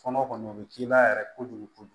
Fɔlɔ kɔni o bɛ k'i la yɛrɛ kojugu kojugu